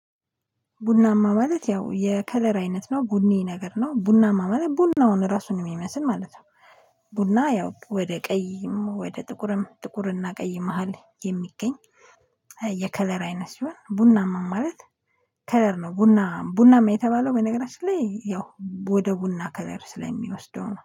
ቡናማ ማለት ያው የከለር አይነት ነው ቡኒ ነገር ነው ቡናማ ማለት ቡናውን ራሱን የሚመስል ማለት ነው። ቡና ያው ወደ ቀይም ወደ ጥቁርም ጥቁርና ቀይ መሃል የሚገኝ የከለር አይነት ሲሆን ቡናማ ማለት። ከለር ነው ቡና ቡና የተባለው በነገራችን ላይ ያው ወደ ቡና ከለር ስለሚወስደው ነው